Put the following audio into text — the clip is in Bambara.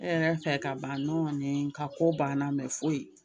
E yɛrɛ fɛ ka ban nin ka ko banna foyi